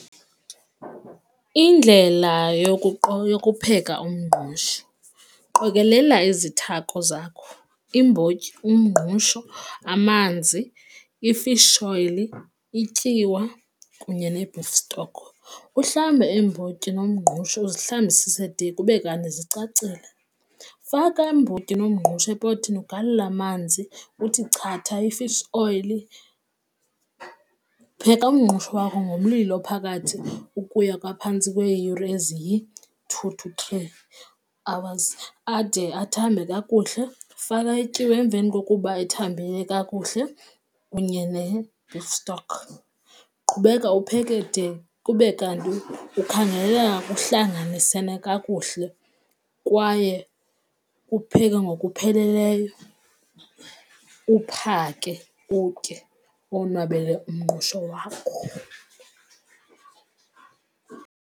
Indlela yokupheka umngqusho. Qokelela izithako zakho iimbotyi, umngqusho amanzi, i-fish oil, ityiwa kunye ne-beef stock. Uhlambe iimbotyi nomngqusho uzihlambisise de kube kanti zicacile, faka iimbotyi nomngqusho epothini ugalele amanzi uthi chatha i-fish oil, pheka umngqusho wakho ngomlilo ophakathi ukuya kophantsi kweeyure eziyi-two to three upwards ade athambe kakuhle, faka ityiwa emveni kokuba ethambile kakuhle kunye ne-beef stock. Qhubeka upheke de kube kanti kukhangeleka kuhlanganisene kakuhle kwaye ukupheke ngokupheleleyo, uphake utye uwonwabele umngqusho wakho.